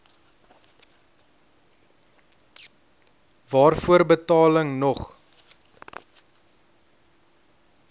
waarvoor betaling nog